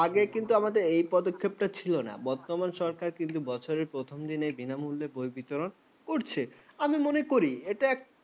আগে কিন্তু আমাদের এই পদক্ষেপটা ছিল না বর্তমান সরকার কিন্তু বছরের প্রথম দিনে বিনামূল্যে বই বিতরণ করছে আমি মনে করি এটা একটা